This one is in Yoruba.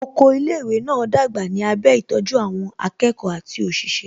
Oko ilé ìwé náà dàgbà ní abẹ́ ìtọ́jú àwọn akẹ́kọ̀ọ́ àti òṣìṣẹ́